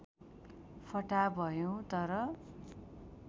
फटाहा भयौ तर